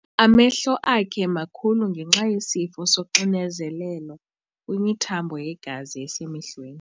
Amehlo akhe makhulu ngenxa yesifo soxinzelelo kwimithambo yegazi esemehlweni.